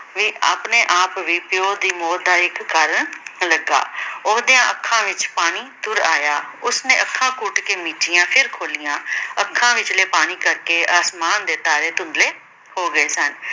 ਵੀ ਆਪਣੇ-ਆਪ ਵੀ ਪਿਉ ਦੀ ਮੌਤ ਦਾ ਇੱਕ ਕਾਰਨ ਲੱਗਾ। ਉਹਦਿਆਂ ਅੱਖਾਂ ਵਿੱਚ ਪਾਣੀ ਤੁਰ ਆਇਆ। ਉਸਨੇ ਅੱਖਾਂ ਘੁੱਟ ਕੇ ਮੀਚੀਆਂ ਫਿਰ ਖੋਲੀਆਂ। ਅੱਖਾਂ ਵਿਚਲੇ ਪਾਣੀ ਕਰਕੇ ਆਸਮਾਨ ਦੇ ਤਾਰੇ ਧੁੰਦਲੇ ਹੋ ਗਏ ਸਨ।